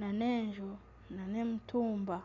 nana enju nana emitumba